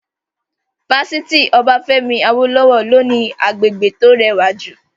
Fásitì Obafemi Awolowo ló ní agbègbè tó rẹwà jù